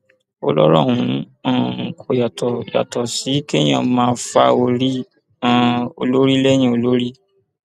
ó lọrọ ọhún um kò yàtọ yàtọ sí kéèyàn máa fa orí um olórí lẹyìn olórí